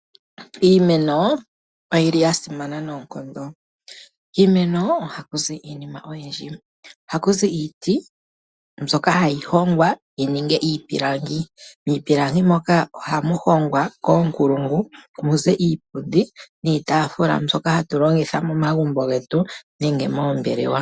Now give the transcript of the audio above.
Iimeno oyi li ya simana noonkondo. Kiimeno ohaku zi iinima oyindji. Ohaku zi iiti, mbyoka hayi hongwa yi ninge iipilangi. Miipilangi moka ohamu hongwa, koonkulungu, mu ze iipundi niitaafula mbyoka hatu longitha momagumbo getu nenge moombelewa.